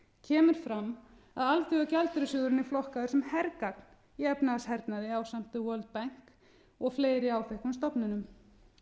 kemur fram að alþjóðagjaldeyrissjóðurinn er flokkaður sem hergagn í efnahagshernaði ásamt the world bank og fleiri áþekkum stofnunum